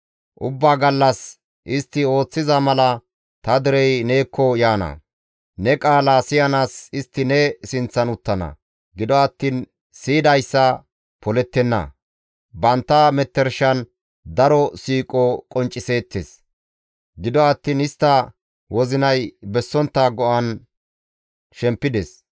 Ubbaa gallas istti ooththiza mala ta derey neekko yaana; ne qaalaa siyanaas istti ne sinththan uttana; gido attiin siyidayssa polettenna. Bantta metershan daro siiqo qoncciseettes; gido attiin istta wozinay bessontta go7an shempides.